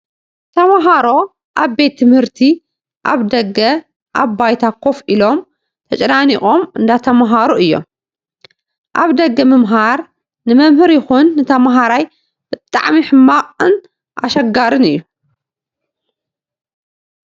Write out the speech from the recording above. ተማሃሮ ኣብ ቤት ትምህርቲ ኣብ ደገ ኣብ ባይታ ኮፍ ኢሎም ተጨናኒቆም እንዳተማሃሩ እዮም። ኣብ ደገ ምምሃር ንመምህር ይኩን ንተማሃራይ ብጣዕሚ ሕማቅን ኣሸጋርን እዩ።